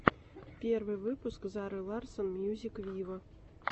первый выпуск зары ларсон мьюзик виво